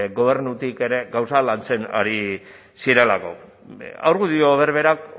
gobernutik ere gauzak lantzen ari zirelako argudio berberak